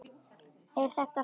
Er þetta frændi minn?